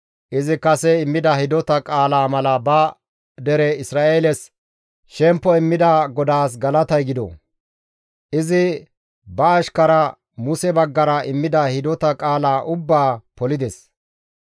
«Izi kase immida hidota qaalaa mala ba dere Isra7eeles shempo immida GODAAS galatay gido; izi ba ashkara Muse baggara immida hidota qaalaa ubbaa polides.